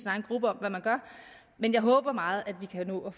egen gruppe om hvad man gør men jeg håber meget at vi kan nå